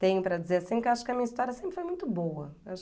Tenho para dizer assim, que eu acho que a minha história sempre foi muito boa.